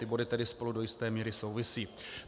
Ty body tedy spolu do jisté míry souvisí.